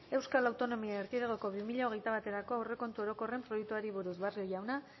euskal autonomia erkidegoko bi mila hogeita baterako aurrekontu orokorren aurre proiektuari buruz barrio jauna